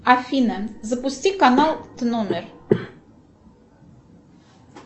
афина запусти канал тномер